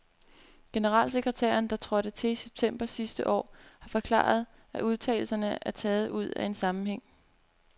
Generalsekretæren, der trådte til i september sidste år, har forklaret, at udtalelserne er taget ud af en sammenhæng.